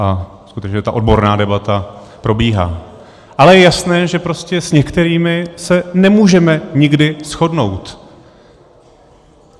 A skutečně ta odborná debata probíhá, ale je jasné, že prostě s některými se nemůžeme nikdy shodnout.